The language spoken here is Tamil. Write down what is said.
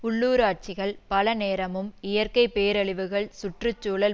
உள்ளூராட்சிகள் பல நேரமும் இயற்கை பேரழிவுகள் சுற்று சூழல்